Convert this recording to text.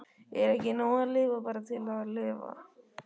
Er ekki nóg að lifa bara til að lifa?